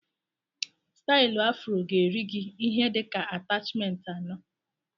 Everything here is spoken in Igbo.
Stailu afro ga-eri gị ihe dịka atachment anọ